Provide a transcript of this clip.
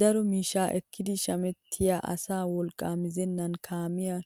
Daro miishshaa ekkidi shamettiyaa asaa wolqqaa mizenan kaamiyaan